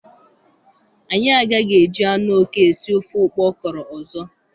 Anyị agaghị eji anụ oke esi ofe ụkpọ ọkụrọ ọzọ.